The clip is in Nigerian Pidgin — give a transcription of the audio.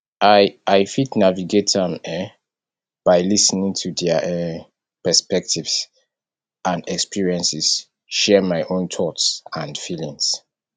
i i fit navigate am um by lis ten ing to their um perspectives and experiences share my own thoughts and feelings